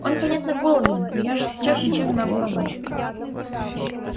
он понятно голоден но я же сейчас ничем не могу помочь